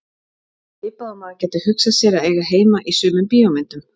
Svipað og maður gæti hugsað sér að eiga heima í sumum bíómyndum.